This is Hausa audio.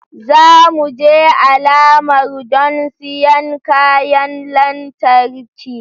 Za mu je alamar don siyan kayan lantarki